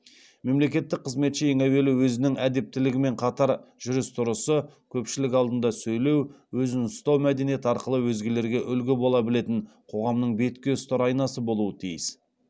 мемлекеттік қызметші ең әуелі өзінің әдептілігімен қатар жүріс тұрысы көпшілік алдында сөйлеу өзін ұстау мәдениеті арқылы өзгелерге үлгі бола білетін қоғамның бетке ұстар айнасы болуы тиіс